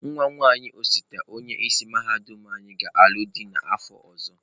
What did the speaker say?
Nwa nwaanyị osote onye isi mahadum anyị ga-alụ dị n'afọ ọzọ.